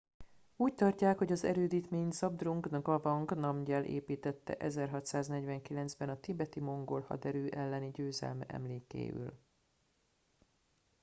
úgy tartják hogy az erődítményt zhabdrung ngawang namgyel építtette 1649 ben a tibeti mongol haderő elleni győzelme emlékéül